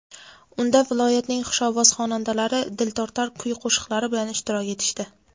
unda viloyatning xushovoz xonandalari diltortar kuy-qo‘shiqlari bilan ishtirok etishdi.